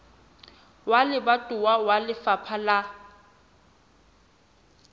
wa lebatowa wa lefapha la